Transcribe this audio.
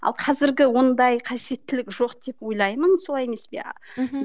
ал қазіргі ондай қажеттілік жоқ деп ойлаймын солай емес пе мхм